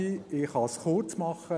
der BiK. Ich kann es kurz machen.